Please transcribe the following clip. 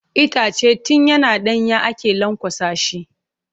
Itace tun yana ɗanye ake lanƙwasa shi.